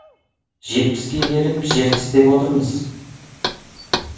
жетпіске келіп жер тістеп отырмыз